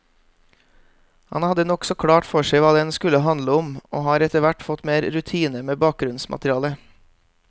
Han hadde nokså klart for seg hva den skulle handle om, og har etterhvert fått mer rutine med bakgrunnsmaterialet.